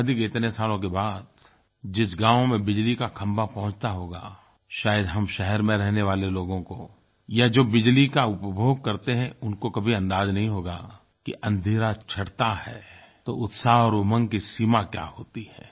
आज़ादी के इतने सालों के बाद जिस गाँव में बिजली का खम्भा पहुँचता होगा शायद हम शहर में रहने वाले लोगों को या जो बिजली का उपभोग करते हैं उनको कभी अंदाज़ नहीं होगा कि अँधेरा छंटता है तो उत्साह और उमंग की सीमा क्या होती है